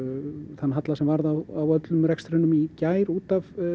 þann halla sem varð á öllum rekstrinum í gær út af